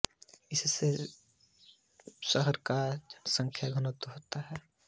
इससे में शहर का जनसंख्या घनत्व हो गया